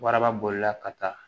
Waraba bolila ka taa